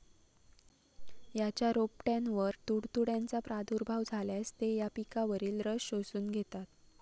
याच्या रोपट्यांवर तुडतुड्यांचा प्रादुर्भाव झाल्यास, ते या पिकावरील रस शोषून घेतात.